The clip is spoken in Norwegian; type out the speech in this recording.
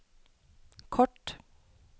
kort